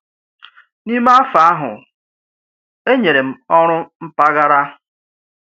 N’ime afọ ahụ, e nyere m ọrụ mpaghara.